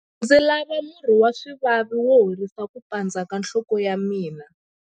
Ndzi lava murhi wa swivavi wo horisa ku pandza ka nhloko ya mina.